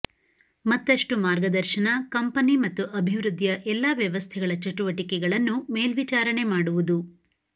ಮತ್ತಷ್ಟು ಮಾರ್ಗದರ್ಶನ ಕಂಪನಿ ಮತ್ತು ಅಭಿವೃದ್ಧಿಯ ಎಲ್ಲಾ ವ್ಯವಸ್ಥೆಗಳ ಚಟುವಟಿಕೆಗಳನ್ನು ಮೇಲ್ವಿಚಾರಣೆ ಮಾಡುವುದು